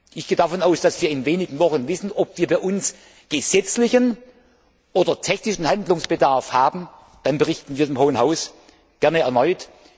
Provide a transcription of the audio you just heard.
Ich gehe davon aus, dass wir in wenigen Wochen wissen, ob wir bei uns gesetzlichen oder technischen Handlungsbedarf haben, dann berichten wir dem Hohen Haus gerne erneut.